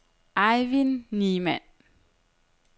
Eivind Niemann